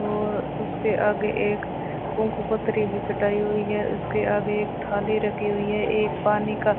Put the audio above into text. और उसके आगे एक कुंकू पत्री भी चटाई हुई है उसके आगे एक थाली रखी हुई है एक पानी का --